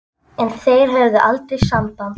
En þeir höfðu aldrei samband